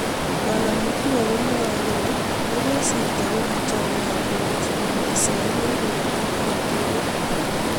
Bw mutua komwae kole negosirto kogicham nea tuguk somok: kiswahili, rirenet ak kiptulit